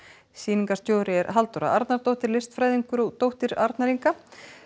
sýningarstjóri er Halldóra Arnardóttir listfræðingur og dóttir Arnar Inga